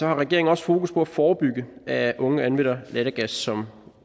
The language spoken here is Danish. har regeringen også fokus på at forebygge at unge anvender lattergas som